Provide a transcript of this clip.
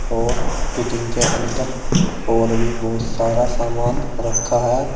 और फिटिंग के अंदर और भी बहुत सारा सामान रखा है।